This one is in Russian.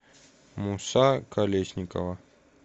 муса колесникова